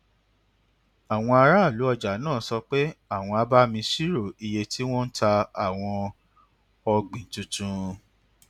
àwọn aráàlú ọjà náà sọ pé àwọn á bá mi ṣírò iye tí wọn ń ta àwọn ọgbìn tuntun